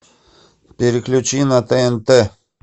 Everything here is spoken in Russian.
переключи на тнт